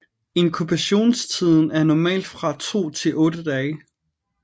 Inkubationstiden er normalt fra 2 til 8 dage